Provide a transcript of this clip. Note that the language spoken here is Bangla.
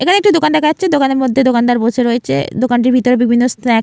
এখানে একটি দোকান দেখা যাচ্ছে দোকানের মধ্যে দোকানদার বসে রয়েছে। দোকানটির ভিতরে বিভিন্ন স্ন্যাক --